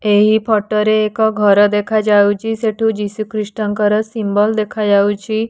ଏହି ଫଟୋ ରେ ଏକ ଘର ଦେଖା ଯାଉଛି ସେଠୁ ଯୀଶୁ ଖ୍ରୀଷ୍ଟ ଙ୍କର ସିମ୍ୱଲ ଦେଖା ଯାଉଛି।